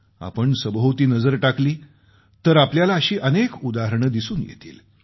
आपण सभोवती नजर टाकली तर आपल्याला अशी अनेक उदाहरणे दिसून येतील